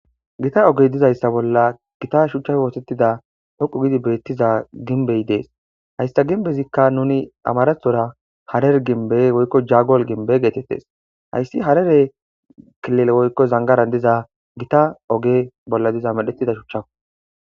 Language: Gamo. Gita oge diza issa bolla shuchape osetida ogeza beetiza ginbbe ha issata ginbbetika nuni amaratira jogole ginbbe woykko jagole ginbbe gettetes aysi harare kilile woykko zanigaran diza gita oge bolla diza shucha